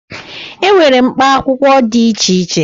E nwere mkpa akwụkwọ dị iche iche.